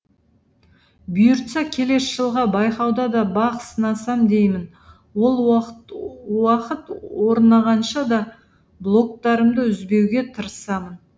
бұйыртса келесі жылғы байқауда да бақ сынасам деймін ол уақыт орнағанша да блогтарымды үзбеуге тырысамын